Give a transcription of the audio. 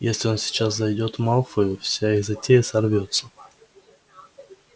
если он сейчас зайдёт малфою вся их затея сорвётся